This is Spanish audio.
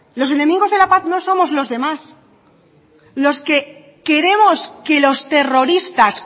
los enemigos de la paz no somos los demás los que queremos que los terroristas